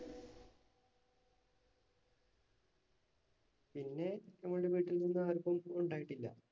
പിന്നെ ഞങ്ങളുടെ വീട്ടിൽ നിന്നും ആർക്കും ഉണ്ടായിട്ടില്ല.